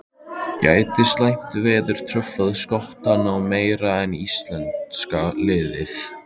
Gæti slæmt veður truflað Skotana meira en íslenska liðið?